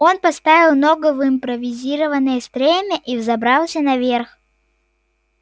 он поставил ногу в импровизированное стремя и взобрался наверх